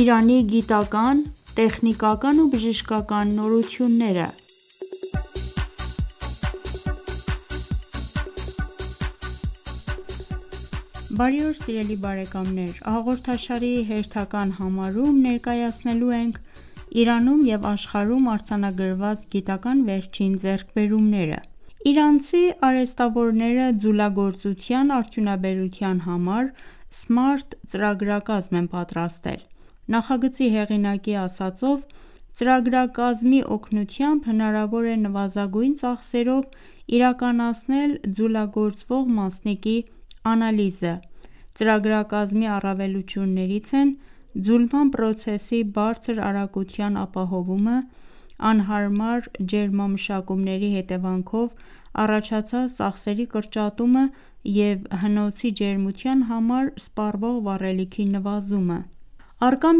«Իրանի գիտական, տեխնիկական ու բժշկական նորությունները» հաղորդաշարի հերթական համարում ներկայացնելու ենք Իրանում և աշխարհում արձանագրված գիտական վերջին ձեռքբերումները: Իրանցի արհեստավորները ձուլագործության արդյունաբերության համար սմարթ ծրագրակազմ են պատրաստել: Նախագծի հեղինակի ասածով, ծրագրակազմի օգնությամբ հնարավոր է նվազագույն ծախսերով իրականացնել ձուլագործվող մասնիկի անալիզը: Ծրագրակազմի առավելություններից են ձուլման պրոցեսի բարձր արագության ապահովումը, անհարմար ջերմամշակումների հետևանքով առաջացած ծախսերի կրճատումը և հնոցի ջերմության համար սպառվող վառելիքի նվազումը: Առկա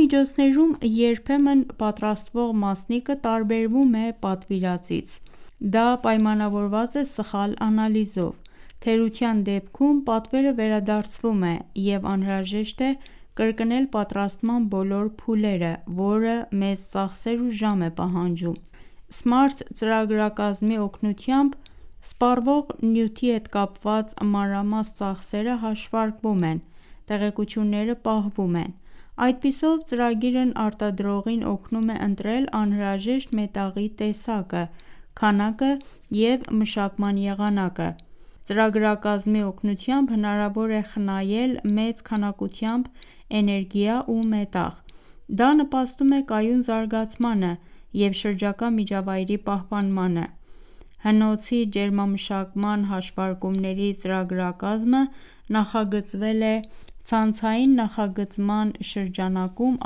միջոցներում, երբեմն պատրաստվող մասնիկը տարբերվում է պատվիրվածից: Դա պայմանավորված է սխալ անալիզով: Թերության դեպքում, պատվերը վերադարձվում է և անհրաժեշտ է կրկնել պատրաստման բոլոր փուլերը, որը մեծ ծախսեր ու ժամ է պահանջում: Սմարթ ծրագրակազմի օգնությամբ, սպառվող նյութի հետ կապված մանրամաս ծախսերը հաշվարկվում են, տեղեկությունները պահվում են: Այդպիսով ծրագիրն արտադրողին օգնում է ընտրել անհրաժեշտ մետաղի տեսակը, քանակը և մշակման եղանակը: Ծրագրակազմի օգնությամբ հնարավոր է խնայել մեծ քանակությամբ էներգիա ու մետաղ: Դա նպաստում է կայուն զարգացմանը և շրջակա միջավայրի պահպանմանը: Հնոցի ջերմամշակման հաշվարումների ծրագրակազմը նախագծվել է ցանցային նախագծման շրջանակում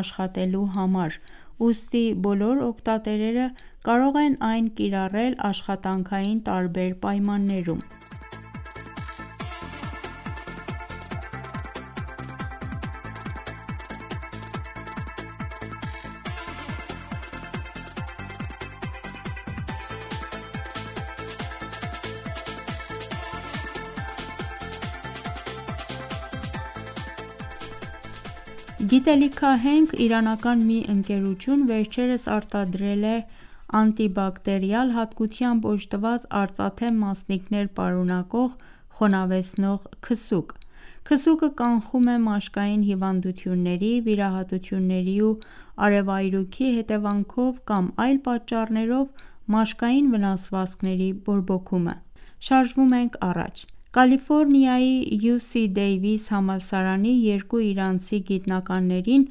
աշխատելու համար, ուստի բոլոր օգտատերերը կարող են այն կիրառել աշխատանքային տարբեր պայմաններում: Գիտելիքահենք իրանական մի ընկերություն վերջերս արտադրել է անտիբակտերիալ հատկությամբ օժտված արծաթե մասնիկներ պարունակող խոնավեցնող քսուկ: Քսուկը կանխում է մաշկային հիվանդությունների, վիրահատությունների ու արևայրուքի հետևանքով կամ այլ պատճառներով մաշկային վնասվածքների բորբոքումը: Կալիֆորնիայի UC Davis համալսարանի երկու իրանցի գիտնականներին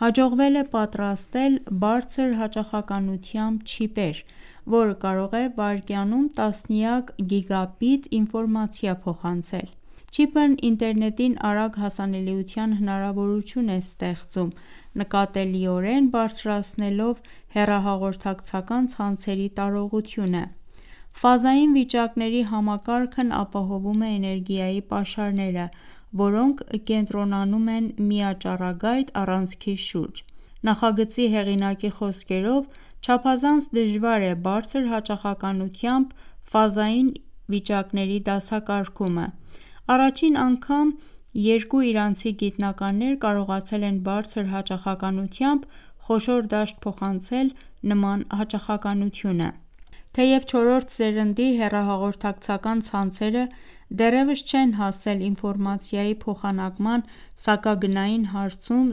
հաջողվել է պատրաստել բարձր հաճախականությամբ չիպեր, որը կարող է վայրկյանում տասնյակ գիգաբիտ ինֆորմացիա փոխանցել: Չիպն ինտերնետին արագ հասանելիության հնարավորություն է ստեղծում՝ նկատելիորեն բարձրացնելով հեռահաղորդակցական ցանցերի տարողությունը: Ֆազային վիճակների համակարգն ապահովում է էներգիայի պաշարները, որոնք կենտրոնանում են միաճառագայթ առանցքի շուրջ: Նախագծի հեղինակի խոսքերով ՝ չափազանց դժվար է բարձր հաճախականությամբ ֆազային վիճակների դասակարգումը: Առաջին անգամ երկու իրանցի գիտնականներ կարողացել են բարձր հաճախականությամբ խոշոր դաշտ փոխանցել նման հաճախականությունը: «Թեև չորրորդ սերնդի հեռահաղորդակցական ցանցերը դեռևս չեն հասել ինֆորմացիայի փոխանակման սահմագնային հարցում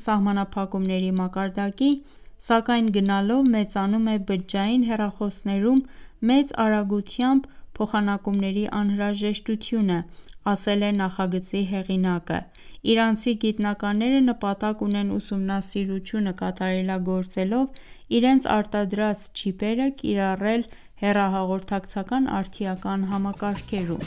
սահմանափակումների մակարդակի, սակայն գնալով մեծանում է բջջային հեռախոսներում մեծ արագությամբ փոխանակումների անհրաժեշտությունը»ասել է նախագծի հեղինակը: Իրանցի գիտնակնները նպատակ ունեն ուսումնասիրությունը կատարելագործելով, իրենց արտադրած չիպերը կիրառել հեռահաղորդակցական արդիական համակարգերում: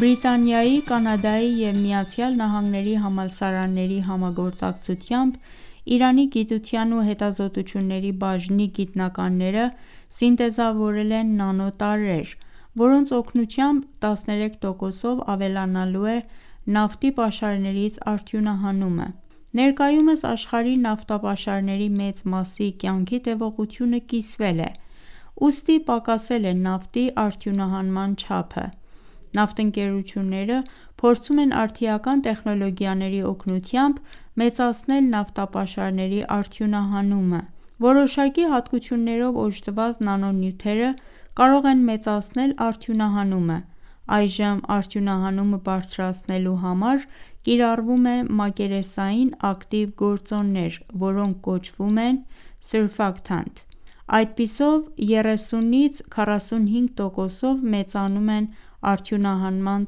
Բրիտանիայի, Կանադայի և ԱՄՆ-ի համալսարանների համագործակցությամբ Իրանի գիտության ու հետազոտությունների բաժնի գիտնականները սինտեզավորել են նանո տարրեր, որոնց օգնությամբ 13 տոկոսով ավելանալու է նավթի պաշարներից արդյունահանումը: Ներկայումս աշխարհի նավթապաշարների մեծ մասի կյանքի տևողությունը կիսվել է, ուստի պակասել է նավթի արդյունահանման չափը: Նավթընկերությունները փորձում են արդիական տեխնոլոգիաների օգնությամբ, մեծացնել նավթապաշարների արդյունահանումը: Որոշակի հատկություններով օժտված նանո նյութերը կարող են մեծացնել արդյունահանումը: Այժմ արդյունահանումը բարձրացնելու համար կիրառվում է մակերեսային ակտիվ գործոններ, որոնք կոչվում են Surfactant: Այդպիսով 30-ից 45 տոկոսով մեծանում են արդյունահանման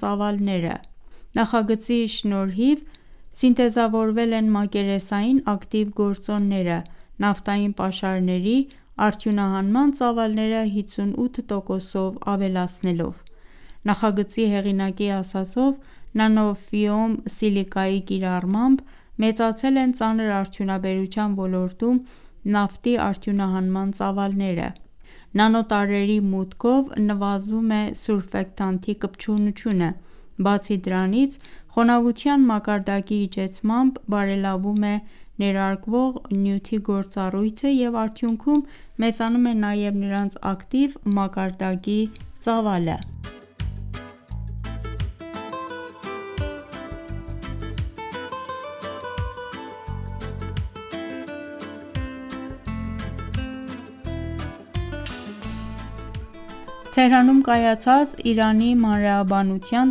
ծավալները: Նախագծի շնորհիվ, սինտեզավորվել են մակերեսային ակտիվ գործոնները ՝ նավթային պաշարների արյունահանման ծավալները 58 տոկոսով ավելացնելով: Նախագծի հեղինակի ասածով՝ նանո-ֆիում սիլիկայի կիրառմամբ, մեծացել են ծանր արդյունաբերության ոլորտում նավթի արդյունահանման ծավալները: Նանո տարրերի մուտքով, նվազում է Surfactant-ի կպչությունը: Բացի դրանից, խոնավության մակարդակի իջեցմամբ, բարելավում է ներարկվող նյութի գործառույթը և արդյունքում, մեծանում է նաև նրանց ակտիվ մակարդակի ծավալը: Թեհրանում կայացած Իրանի մանրէաբանության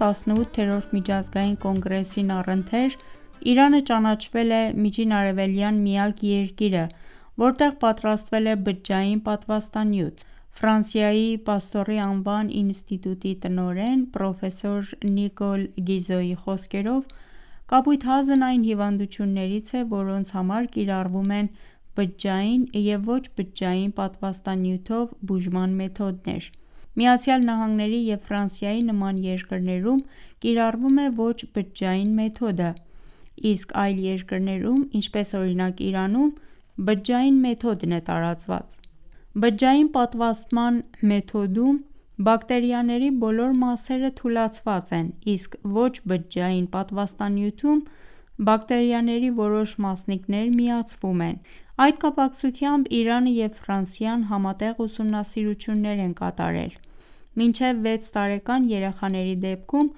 18-րդ միջազգային կոնգրեսին առընթեր, Իրանը ճանաչվել է Միջինարևելյան միակ երկիրը, որտեղ պատրաստվել է բջջային պատվաստանյութ: Ֆրանսիայի «Պաստոր»-ի անվան ինստիտուտի տնօրեն ՝ պրոֆեսոր Նիկոլ Գիզոյի խոսքերով, կապույտ հազն այն հիվանդություններից է, որոնց համար կիրառվում են բջջային և ոչ-բջջային պատվաստանյութով բուժման մեթոդներ: ԱՄՆ-ի և Ֆրանսիայի նման երկրներում կիրառվում է ոչ-բջջային մեթոդը, իսկ այլ երկրներում ՝ ինչպես օրինակ Իրանում, բջջային մեթոդն է տարածված: Բջջային պատվաստման մեթոդում, բակտերիաների բոլոր մասերը թուլացված են, իսկ ոչ-բջջային պատվաստանյութում, բակտերիաների որոշ մասնիկներ միացվում են: Այդ կապակցությամբ Իրանը և Ֆրանսիան համատեղ ուսումնասիրություններ են կատարել: Մինչև վեց տարեկան երեխաների դեպքում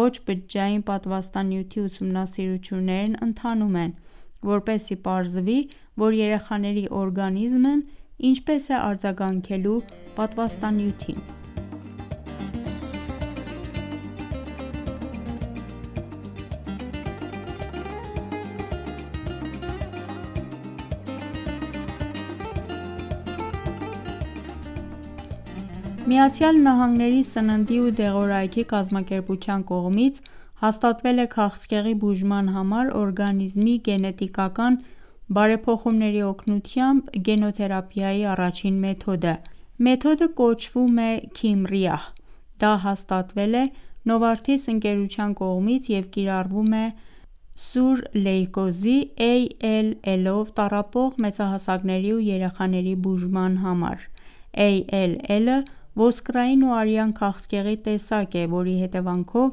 ոչ-բջջային պատվաստանյութի ուսումնասիրություններն ընթանում են, որպեսզի պարզվի, որ երեխաների օրգանիզմն ինչպե՞ս է արձագանքելու պատվաստանյութին: ԱՄՆ-ի սննդի ու դեղորայքի կազմակերպության կողմից հաստատվել է քաղցկեղի բուժման համար օրգանիզմի գենետիկական բարեփոխումների օգնությամբ գենոթերապիայի առաջին մեթոդը: Մեթոդը կոչվում է Kymriah(tisagenlecleucel): Դա հաստատվել է Novartis ընկերության կողմից և կիրառվում է սուր լիմֆոբլաստիկ լեյկոզի ALL-ով տառապող մեծահասակների ու երեխաների բուժման համար: ALL-ը ոսկրային ու արյան քաղցկեղի տեսակ է, որի հետևանքով,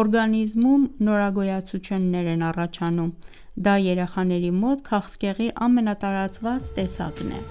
օրգանիզմում նորագոյացություններ են առաջանում: Դա երեխաների մոտ քաղցկեղի ամենատարածված տեսակն է: